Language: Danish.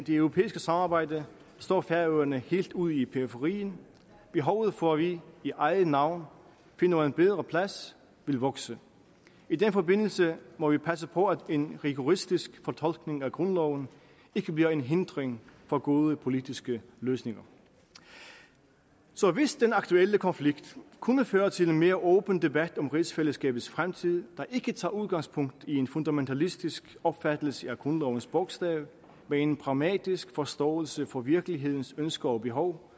europæiske samarbejde står færøerne helt ude i periferien behovet for at vi i eget navn finder en bedre plads vil vokse i den forbindelse må vi passe på at en rigoristisk fortolkning af grundloven ikke bliver en hindring for gode politiske løsninger så hvis den aktuelle konflikt kunne føre til en mere åben debat om rigsfællesskabets fremtid der ikke tager udgangspunkt i en fundamentalistisk opfattelse af grundlovens bogstav men en pragmatisk forståelse for virkelighedens ønsker og behov